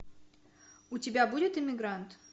у тебя будет эмигрант